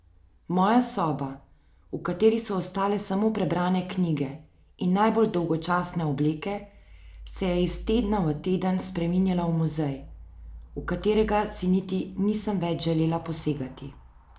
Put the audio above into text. Moja soba, v kateri so ostale samo prebrane knjige in najbolj dolgočasne obleke, se je iz tedna v teden spreminjala v muzej, v katerega si niti nisem več želela posegati.